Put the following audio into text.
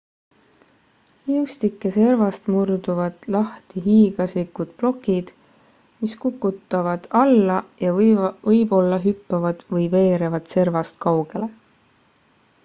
liustike servast murduvad lahti hiiglaslikud plokid mis kukuvad alla ja võib-olla hüppavad või veerevad servast kaugele